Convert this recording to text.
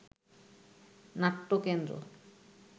নাট্যকেন্দ্র